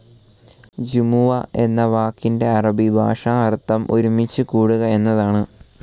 ജുമുഅ എന്ന വാക്കിൻറെ അറബി ഭാഷാഅർ‌ഥം ഒരുമിച്ച് കൂടുക എന്നതാണ്.